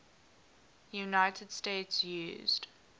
united states used